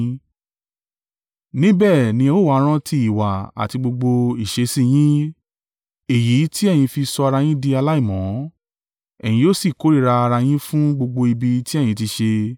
Níbẹ̀ ni ẹ ó wa rántí ìwà àti gbogbo ìṣesí yín, èyí tí ẹ̀yin fi sọ ara yín di aláìmọ́, ẹ̀yin yóò sì kórìíra ara yín fún gbogbo ibi tí ẹ̀yin ti ṣe.